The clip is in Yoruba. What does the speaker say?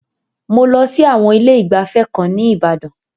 Mo lọ sí àwọn ilé ìgbafẹ́ kan ní Ìbàdan.